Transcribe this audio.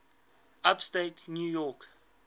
upstate new york